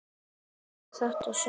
En ekki í þetta sinn.